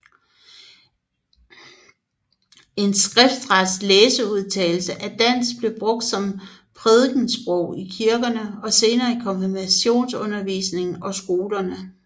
En skriftret læseudtale af dansk blev brugt som prædikesprog i kirkerne og senere i konfirmationsundervisningen og skolerne